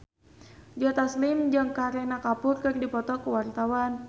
Joe Taslim jeung Kareena Kapoor keur dipoto ku wartawan